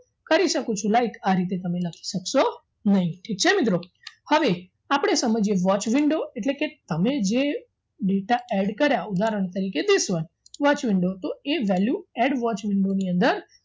કરી શકું છું like આ રીતે તમે લખી શકશો નહીં ઠીક છે મિત્રો હવે આપણે સમજીએ watch window એટલે કે અમે જે data add કર્યા ઉદાહરણ તરીકે dis watch watch window તો એ value add watch window ની અંદર